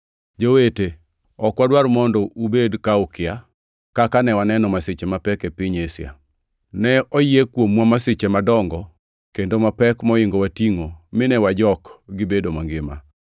Jowete, ok wadwar mondo ubed ka ukia, kaka ne waneno masiche mapek e piny Asia. Ne oyie kuomwa masiche madongo kendo mapek moingowa tingʼo mine wajok gibedo mangima.